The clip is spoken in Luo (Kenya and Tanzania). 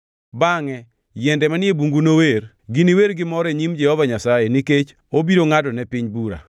Bangʼe yiende manie bungu nower, giniwer gi mor e nyim Jehova Nyasaye, nikech obiro ngʼadone piny bura.